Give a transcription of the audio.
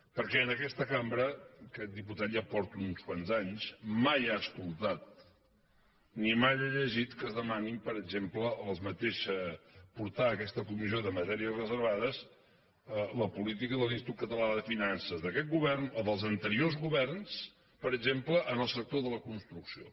perquè en aquesta cambra aquest diputat ja porta uns quants anys mai ha escoltat ni mai ha llegit que es demani per exemple portar a aquesta comissió de matèries reservades la política de l’institut català de finances d’aquest govern o dels anteriors governs per exemple en el sector de la construcció